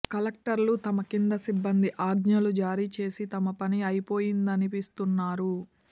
కలెక్టర్లు తమ కింది సిబ్బంది ఆజ్ఞలు జారీ చేసి తమ పని అయిపోయిందనిపిస్తున్నారు